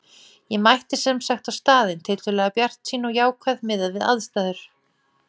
Ég mætti sem sagt á staðinn tiltölulega bjartsýn og jákvæð miðað við aðstæður.